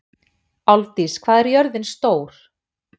Álfdís, hvað er jörðin stór?